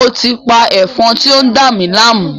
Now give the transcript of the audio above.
Mo ti pa Ẹ̀fọn ti o n dami láàmú